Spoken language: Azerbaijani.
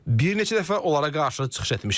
Bir neçə dəfə onlara qarşı çıxış etmişəm.